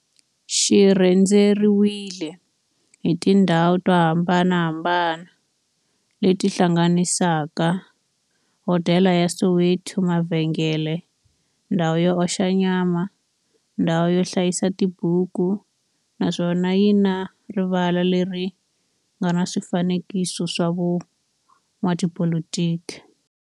xi rhendzeriwile hi tindhawu to hambanahambana le ti hlanganisaka, hodela ya Soweto, mavhengele, ndhawu yo oxa nyama, ndhawu yo hlayisa tibuku, naswona yi na rivala le ri nga na swifanekiso swa vo n'watipolitiki.